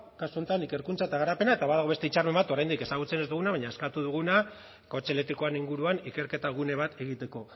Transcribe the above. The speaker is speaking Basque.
kasu honetan ikerkuntza eta garapena eta badago beste hitzarmen bat oraindik ezagutzen ez duguna baina eskatu duguna kotxe elektrikoen inguruan ikerketa gune bat egiteko